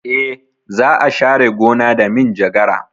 E, za a share gona da minjagara.